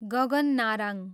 Gagan Narang